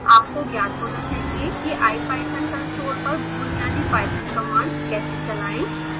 आपको ज्ञात होना चाहिए कि ipython कंसोल पर बुनियादी python कमांड्स कैसे चलाएं